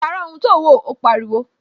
Pàrọ̀ ohun tí ò ń wo! Ó pariwo